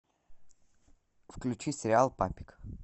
включи сериал папик